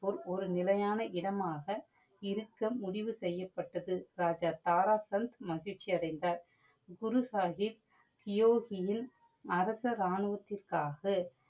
ஒரு நிலையான இடமாக இருக்க முடிவு செய்யப்பட்டது. ராஜா தாரா சந்த் மகிழ்ச்சி அடைந்தார். குரு சாஹிப் தியோஹியில் அரச ராணுவத்திற்காக